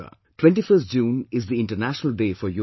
21st June is the International Day for Yog